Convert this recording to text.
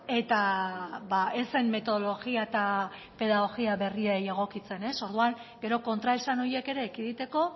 eta ez zen metodologia eta pedagogia berriei egokitzen orduan gero kontraesan horiek ere ekiditeko